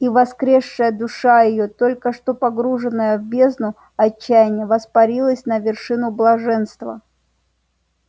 и воскресшая душа её только что погруженная в бездну отчаяния воспарилась на вершину блаженства